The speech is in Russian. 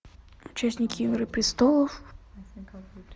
участники игры престолов